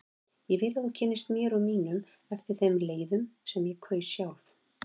Ég vildi að þú kynntist mér og mínum eftir þeim leiðum sem ég kaus sjálf.